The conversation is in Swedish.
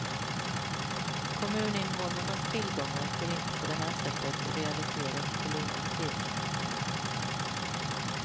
Kommuninvånarnas tillgångar får inte på det här sättet realiseras till underpris.